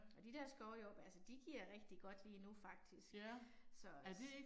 Og de der skovjordbær, altså de giver rigtig godt lige nu faktisk, så